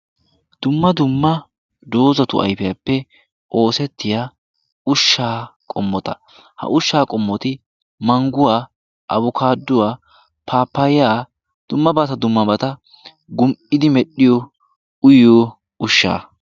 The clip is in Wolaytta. Dumma dumma dozzatu ayifiyaappe oosettiya ushshaa qommota. Ha ushshaa qommoti mangguwaa, abukaadduwaa, paappayaa dummabata dummabata gum"idi medhdhiyoo uyiyo ushshaa.